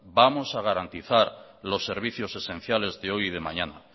vamos a garantizar los servicios esenciales de hoy y de mañana